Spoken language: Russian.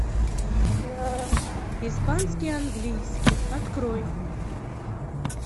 испанский английский открой